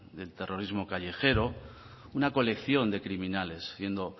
del terrorismo callejero una colección de criminales siendo